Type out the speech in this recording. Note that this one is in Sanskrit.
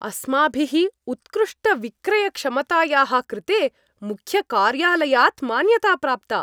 अस्माभिः उत्कृष्टविक्रयक्षमतायाः कृते मुख्यकार्यालयात् मान्यता प्राप्ता।